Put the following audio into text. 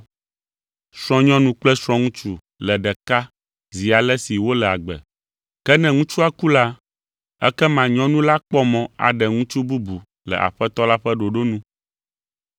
Srɔ̃nyɔnu kple srɔ̃ŋutsu le ɖeka zi ale si wole agbe. Ke ne ŋutsua ku la, ekema nyɔnu la kpɔ mɔ aɖe ŋutsu bubu le Aƒetɔ la ƒe ɖoɖo nu.